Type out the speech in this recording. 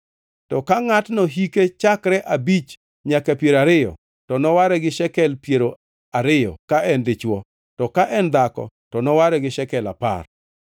To ka ngʼatno hike chakre abich nyaka piero ariyo, to noware gi shekel piero ariyo ka en dichwo, to ka en dhako to noware gi shekel apar.